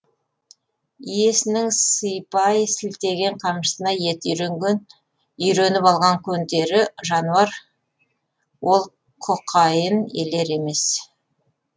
иесінің сыйпай сілтеген қамшысына еті үйреніп алған көнтері жануар ол құқайын елер емес